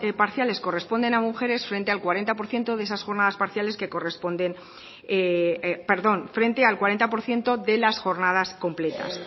parciales corresponden a mujeres frente al cuarenta por ciento de las jornadas completas